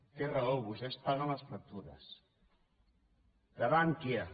té raó vostès paguen les factures de bankia